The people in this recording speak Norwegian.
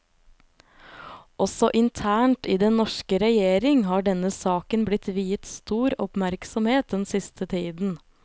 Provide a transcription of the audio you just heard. Også internt i den norske regjering har denne saken blitt viet stor oppmerksomhet den siste tiden.